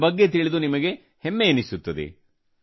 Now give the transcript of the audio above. ಇದರ ಬಗ್ಗೆ ತಿಳಿದು ನಿಮಗೆ ಹೆಮ್ಮೆಯೆನಿಸುತ್ತದೆ